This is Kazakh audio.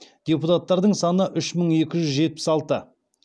депутаттардын саны үш мың екі жүз жетпіс алты